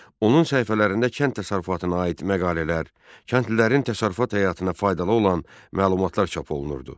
Onun səhifələrində kənd təsərrüfatına aid məqalələr, kəndlilərin təsərrüfat həyatına faydalı olan məlumatlar çap olunurdu.